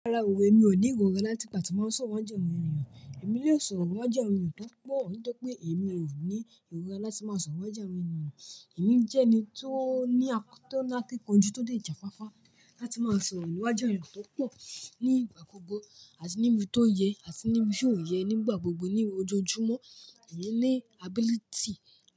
Rárá òwe, èmi ò ní ìròrá láti ìpà tá máa sọ̀rọ̀ wájú àwọn ènìyàn. Èmi lè sọ̀rọ̀ wájú àwọn ènìyàn tó pọ̀, ní jẹ́ pé èmi ò ní ìròrá láti máa sọ̀rọ̀ wájú àwọn ènìyàn. Èmi jẹ́ ẹni tó ní àkọ́ tó na kíkanjú tó dé jàfáfá láti máa sọ̀rọ̀ wájú àwọn ènìyàn tó pọ̀ nígbà gbogbo àti níbi tó yẹ àti níbi tí ò yẹ nígbà gbogbo ní ojoojúmọ́. Èmi ní ability.